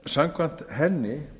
samkvæmt henni